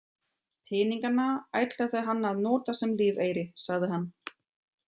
Peningana ætlaði hann að nota sem lífeyri, sagði hann.